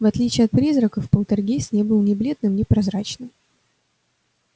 в отличие от призраков полтергейст не был ни бледным ни прозрачным